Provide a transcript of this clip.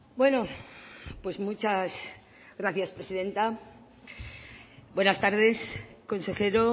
bueno pues muchas gracias presidenta buenas tardes consejero